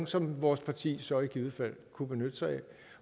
som vores parti så i givet fald kunne benytte sig af